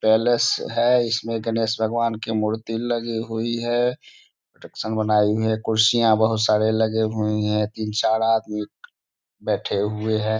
Palace है इसमें गणेश भगवान की मूर्तियां लगी हुई है कुर्सियां बहुत सारे लगे हुए है तीन-चार आदमी बैठे हुए हैं।